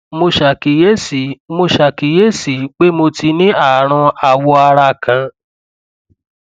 mo ṣàkíyèsí mo ṣàkíyèsí pé mo ti ní ààrùn awọ ara kan